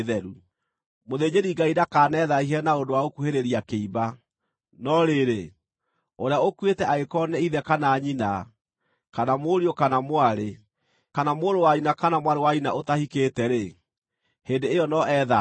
“ ‘Mũthĩnjĩri-Ngai ndakanethaahie na ũndũ wa gũkuhĩrĩria kĩimba; no rĩrĩ, ũrĩa ũkuĩte angĩkorwo nĩ ithe kana nyina, kana mũriũ kana mwarĩ, kana mũrũ wa nyina kana mwarĩ wa nyina ũtahikĩte-rĩ, hĩndĩ ĩyo no ethaahie.